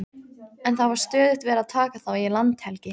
En það var stöðugt verið að taka þá í landhelgi.